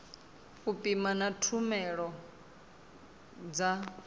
u pima na tshumelo dza